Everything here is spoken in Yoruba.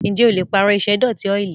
Ǹjẹ́ o le pààrọ̀ ìṣẹ́dọ̀tí ọ́ìlì?